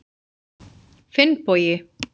Finnbogi